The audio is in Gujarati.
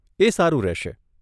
એ સારું રહેશે.